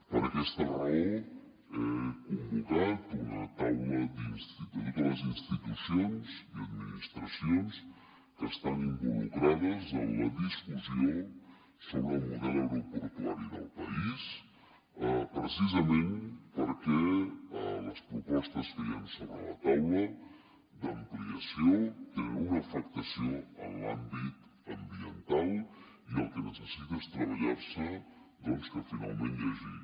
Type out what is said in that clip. per aquesta raó he convocat una taula de totes les institucions i administracions que estan involucrades en la discussió sobre el model aeroportuari del país precisament perquè les propostes que hi han sobre la taula d’ampliació tenen una afectació en l’àmbit ambiental i el que necessita és treballar se doncs que finalment hi hagi